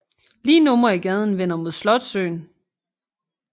Lige numre i gaden vender mod Slotssøen